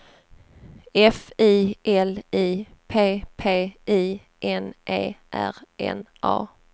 F I L I P P I N E R N A